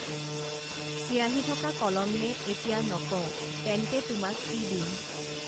চিয়াঁহী থকা কলম নে এতিয়া নকওঁ তেন্তে তোমাক কি দিম